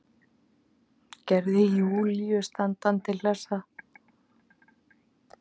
Gerði Júlíu standandi hlessa.